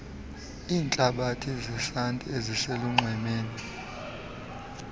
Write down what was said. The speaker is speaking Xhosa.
iintlabathi zesanti eziselunxwemeni